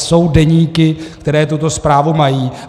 Jsou deníky, které tuto zprávu mají.